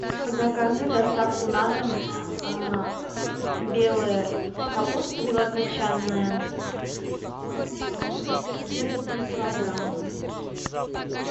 закажи доставку на дом белая капуста белокачанная где то три килограмма